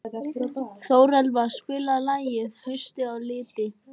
Þórelfa, spilaðu lagið „Haustið á liti“.